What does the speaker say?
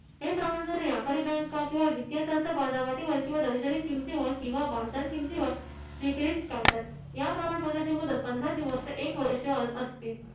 व्यापारी bank किंवा वित्तीय संस्था वाजवटीवर किंवा दर्शनी किमती वर किंवा बाजार किमतीवर विक्रीस काढतात. या प्रमाणपत्राची मुदत पंधरा दिवस ते एक वर्ष असते.